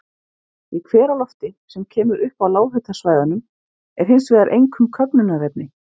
Í hveralofti, sem kemur upp á lághitasvæðunum, er hins vegar einkum köfnunarefni.